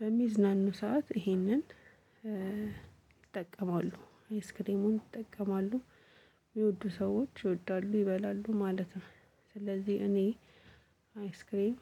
በሚዝናኑ ሰዓት ይሄንን ይጠቀማሉ አይስክሬሙን ይጠቀማሉ የሚወዱ ሰዎች ይወዳሉ ይበላሉ ማለት ነው። ስለዚህ እኔ አይስክሬም